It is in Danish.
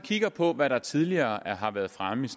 kigger på hvad der tidligere har været fremme